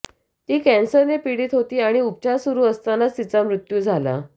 ती कॅन्सरनं पीडित होती आणि उपचार सुरू असतानाच तिचा मृत्यू झाला